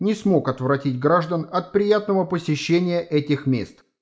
не смог отвратить граждан от приятного посещения этих мест